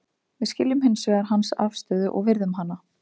Við skiljum hins vegar hans afstöðu og virðum hana.